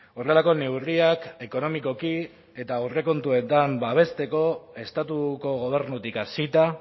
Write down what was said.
horrelako neurriak ekonomikoki eta aurrekontuetan babesteko estatuko gobernutik hasita